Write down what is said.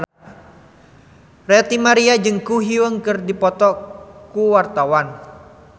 Ranty Maria jeung Ko Hyun Jung keur dipoto ku wartawan